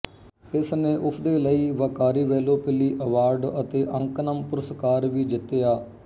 ਇਸ ਨੇ ਉਸਦੇ ਲਈ ਵੱਕਾਰੀ ਵੈਲੋਪਿੱਲੀ ਅਵਾਰਡ ਅਤੇ ਅੰਕਨਮ ਪੁਰਸਕਾਰ ਵੀ ਜਿੱਤਿਆ